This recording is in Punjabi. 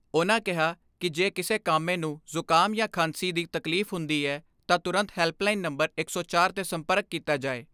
ਉਨ੍ਹਾਂ ਕਿਹਾ ਕਿ ਜੇ ਕਿਸੇ ਕਾਮੇ ਨੂੰ ਜੁਕਾਮ ਜਾਂ ਖਾਂਸੀ ਦੀ ਤਕਲੀਫ਼ ਹੁੰਦੀ ਐ ਤਾਂ ਤੁਰੰਤ ਹੈਲਪਲਾਈਨ ਨੰਬਰ ਦਸਚਾਰ 'ਤੇ ਸੰਪਰਕ ਕੀਤਾ ਜਾਏ।